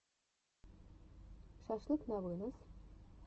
шашлык на вынос